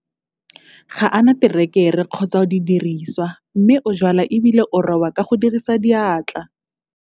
Ga a na terekere kgotsa didiriswa mme o jwala e bile o roba ka go dirisa diatla.